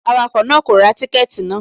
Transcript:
Awakọ̀ náà kò ra tíkẹ́tì náà.